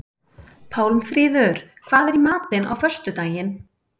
Pálmfríður, hvað er í matinn á föstudaginn?